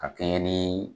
Ka kɛɲɛ ni